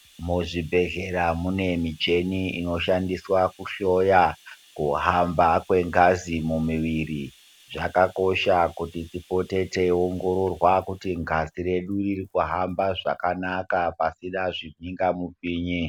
Muzvibhedhlera munoshandiswa kuhloya kuhamba kwengazi mumwiri zvakakosha tipote teiongororwa ngazi redu rikuhabwa zvakanaka pasina zvibinga mupini.